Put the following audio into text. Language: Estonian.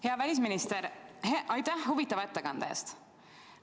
Hea välisminister, aitäh huvitava ettekande eest!